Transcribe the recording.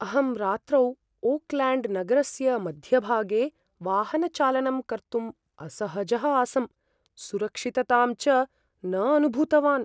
अहं रात्रौ ओकल्याण्ड्नगरस्य मध्यभागे वाहनचालनं कर्तुम् असहजः आसम्, सुरक्षिततां च न अनुभूतवान् ।